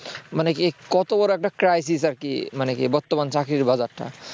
মানে কি কত বড় একটা crisis আর কি মানে কি বর্তমান তো এই চাকরির বাজারটা